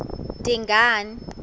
dingane